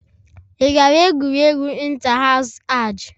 Ị gara egwuregwu inta hasu ahj?